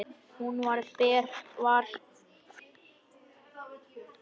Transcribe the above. Hún var ber að ofan.